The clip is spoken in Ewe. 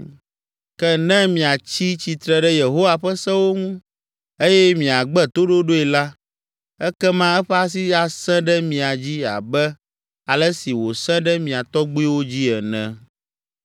Ke ne miatsi tsitre ɖe Yehowa ƒe sewo ŋu eye miagbe toɖoɖoe la, ekema eƒe asi asẽ ɖe mia dzi abe ale si wòsẽ ɖe mia tɔgbuiwo dzi ene.